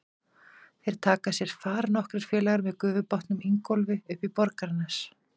Þeir taka sér far nokkrir félagar með gufubátnum Ingólfi upp í Borgarnes.